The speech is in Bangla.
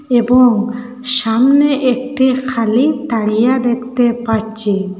এবং সামনে একটি খালি তারিয়া দেখতে পারচি।